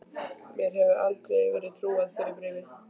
Mér hefði aldrei verið trúað fyrir bréfi.